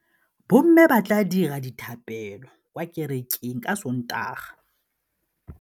Bommê ba tla dira dithapêlô kwa kerekeng ka Sontaga.